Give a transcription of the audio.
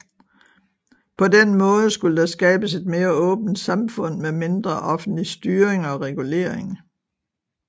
På den måde skulle der skabes et mere åbent samfund med mindre offentlig styring og regulering